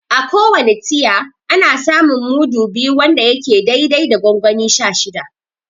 A ko wane tiya, ana samun mudu biyu wanda yake dai dai da gongoni sha shida.